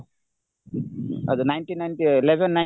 ninety nineକେ eleven nine